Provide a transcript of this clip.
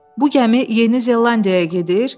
Bu gəmi Yeni Zelandiyaya gedir?